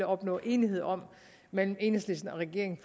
opnå enighed om mellem enhedslisten og regeringen